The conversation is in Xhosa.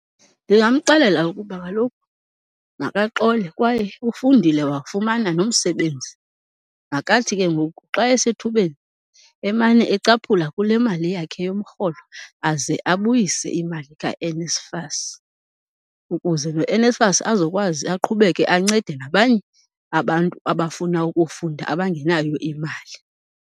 Ndingamxelela ukuba kaloku makaxole kwaye ufundile wafumana nomsebenzi. Makathi ke ngoku xa esethubeni emane ecaphula kule mali yakhe yomrholo aze abuyise imali kaNSFAS ukuze noNSFAS azokwazi aqhubeke ancede nabanye abantu abafuna ukufunda abangenayo imali.